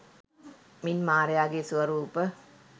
මින් මාරයාගේ ස්වරූප